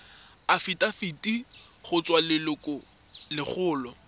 afitafiti go tswa go lelokolegolo